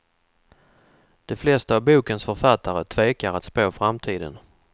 De flesta av bokens författare tvekar att spå framtiden.